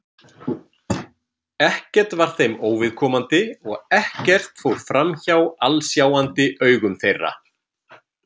Ekkert var þeim óviðkomandi og ekkert fór framhjá alsjáandi augum þeirra.